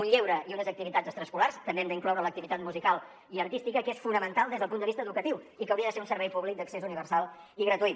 un lleure i unes activitats extraescolars també hi hem d’incloure l’activitat musical i artística que són fonamentals des del punt de vista educatiu i que haurien de ser un servei públic d’accés universal i gratuït